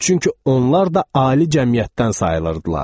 Çünki onlar da ali cəmiyyətdən sayılırdılar.